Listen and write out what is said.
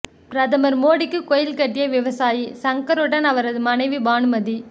பிரதமர் மோடிக்கு கோவில் கட்டிய விவசாயி சங்கருடன் அவரது மனைவி பானுமதி